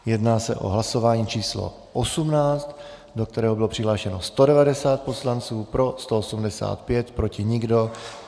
Jedná se o hlasování číslo 18, do kterého bylo přihlášeno 190 poslanců, pro 185, proti nikdo.